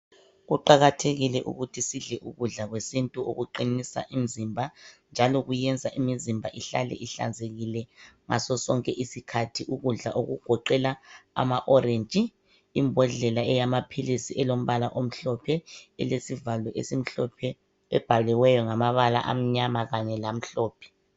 Kuqakathekile ukuthi sidle ukudla kwesiNtu okuqinisa imizimba njalo kuyenza imizimba ihlale ihlanzekile ngaso sonke isikhathi ukudla okugoqela amaorenji imbodlela eyamaphilisi ilombala omhlophe elezivalo esimhlophe ebhaliweyo ngamabala amnyama kanye lamhlophe.